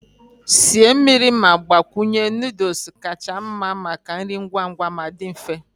Sie mmiri ma gbakwunye noodles kacha mma maka nri ngwa ngwa ma dị mfe.